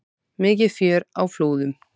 Mikið fjör á Flúðum